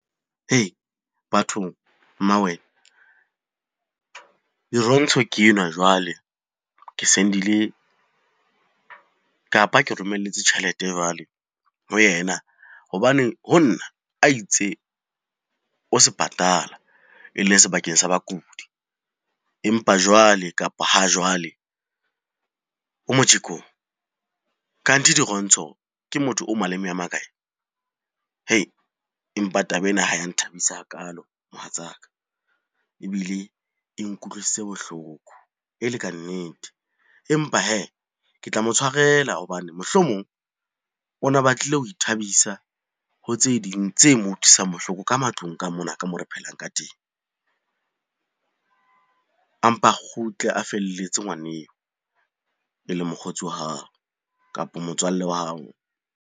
Bathong, mmawena. Dirontsho ke enwa jwale ke sendile, kapa ke romelletse tjhelete jwale ho yena hobaneng ho nna a itse o sepatala e le sebakeng sa bakudi. Empa jwale, kapa ha jwale o mojekong. Kanthi Dirontsho ke motho o maleme a makae? Empa taba ena ha ya nthabisa hakalo mohatsaka, ebile e nkutlwisitse bohloko e le kannete. Empa hee, le tla mo tshwarela hobane mohlomong o na batlile ho ithabisa ho tse ding tse mo utlwisang bohloko ka matlung ka mona ka moo re phelang ka teng. A mpa a kgutle a felletse ngwaneo e leng mokgotsi wa hao, kapo motswalle wa hao.